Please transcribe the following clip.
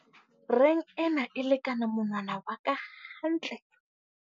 Reng ena e lekana monwna wa ka hantle.